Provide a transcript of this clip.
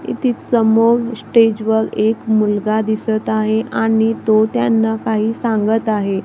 इतिज समोर स्टेजवर एक मुलगा दिसत आहे आणि तो त्यांना काही सांगत आहे.